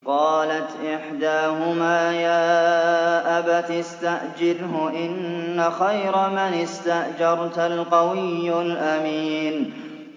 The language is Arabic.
قَالَتْ إِحْدَاهُمَا يَا أَبَتِ اسْتَأْجِرْهُ ۖ إِنَّ خَيْرَ مَنِ اسْتَأْجَرْتَ الْقَوِيُّ الْأَمِينُ